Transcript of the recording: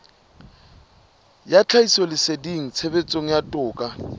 ya tlhahisoleseding tshebetsong ya toka